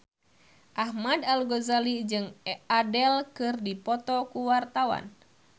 Ahmad Al-Ghazali jeung Adele keur dipoto ku wartawan